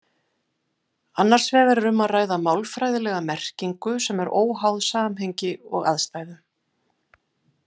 Annars vegar er um að ræða málfræðilega merkingu sem er óháð samhengi og aðstæðum.